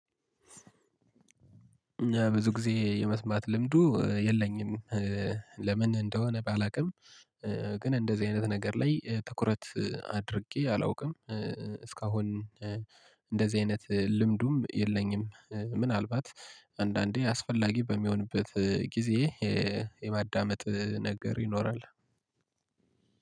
ብዙ ጊዜ የመስማት ልምዱ የለኝም። ለምን እንደሆነ ባላውቅም ግን እንደዚህ አይነት ነገር ላይ ትኩረት አድርጌ አላውቅም። እስካሁን እንደዚህ አይነት ልምዱም የለኝም። ምናልባት አንዳንዴ አስፈላጊ በሚሆንበት ጊዜ የማዳመጥ ነገር ይኖራል።